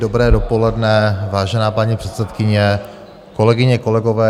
Dobré dopoledne, vážená paní předsedkyně, kolegyně kolegové.